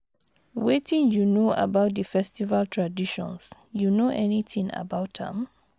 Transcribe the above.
wetin you know about di festival traditions, you know anything about am?